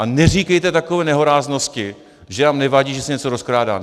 A neříkejte takové nehoráznosti, že nám nevadí, že se něco rozkrádá.